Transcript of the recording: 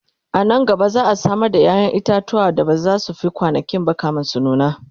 anan gaba za'a Samar da yayan itatuwa da bazasu Fi kwanankinba kamin su nuna